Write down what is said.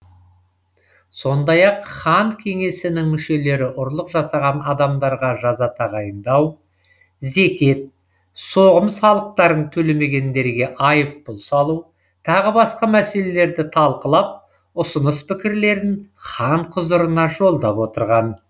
сондай ақ хан кеңесінің мүшелері ұрлық жасаған адамдарға жаза тағайындау зекет соғым салықтарын төлемегендерге айыппұл салу тағы басқа мәселелерді талқылап ұсыныс пікірлерін хан құзырына жолдап отырған